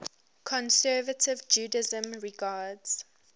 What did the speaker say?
conservative judaism regards